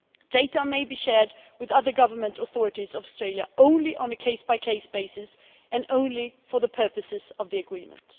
Data may be shared with other government authorities of Australia only on a case by case basis and only for the purposes of the agreement.